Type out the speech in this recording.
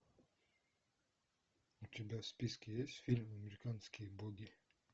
у тебя в списке есть фильм американские боги